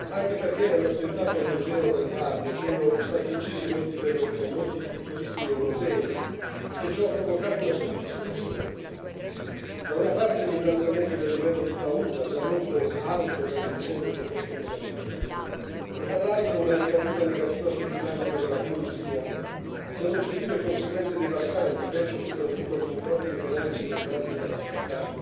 Anche perché nell'attentato al museo del Bardo sono stati uccisi molti turisti europei e ciò ha provocato una duplice conseguenza da una parte l'innalzamento del livello di paura, già molto alto per le vicende che investono la Libia, e dall'altra una ricaduta negativa sull'immagine della Tunisia con oggettive conseguenze devastanti penso soprattutto agli introiti economici derivanti dall'attività